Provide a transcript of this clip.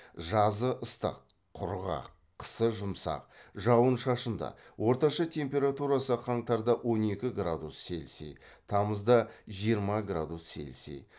жазы ыстық құрғақ қысы жұмсақ жауын шашынды орташа температурасы қаңтарда он екі градус цельсий тамызда жиырма градус цельсий